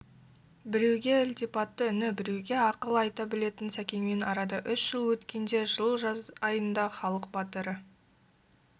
біреуге ілтипатты іні біреуге ағалық ақыл айта білетін сәкеңмен арада үш жыл өткенде жылы жаз айында халық батыры